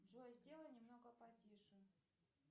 джой сделай немного потише